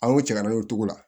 An ko cɛ ka na n'o cogo la